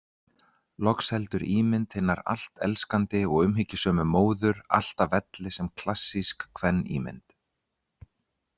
Loks heldur ímynd hinar allt elskandi og umhyggjusömu móður, alltaf velli sem klassísk kvenímynd.